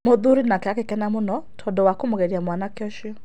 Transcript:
Mũthuri nake agĩkena mũno tondũ wa kũmũgeria mwanake ũcio.